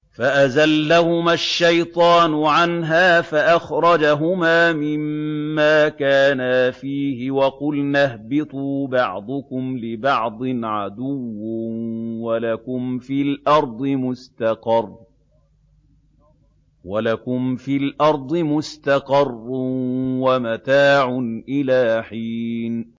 فَأَزَلَّهُمَا الشَّيْطَانُ عَنْهَا فَأَخْرَجَهُمَا مِمَّا كَانَا فِيهِ ۖ وَقُلْنَا اهْبِطُوا بَعْضُكُمْ لِبَعْضٍ عَدُوٌّ ۖ وَلَكُمْ فِي الْأَرْضِ مُسْتَقَرٌّ وَمَتَاعٌ إِلَىٰ حِينٍ